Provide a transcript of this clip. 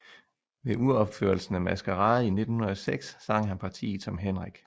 Ved uropførelsen af Maskarade i 1906 sang han partiet som Henrik